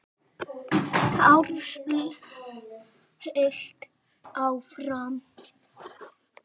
Ársæll hélt áfram.